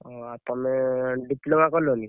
ଓହୋ! ଆଉ ତମେ diploma କଲନି?